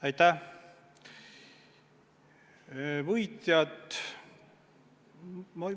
Aitäh!